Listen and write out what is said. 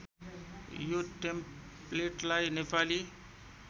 यो टेम्प्लेटलाई नेपाली